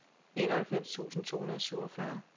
enoghalvfems tusind to hundrede og syvogfyrre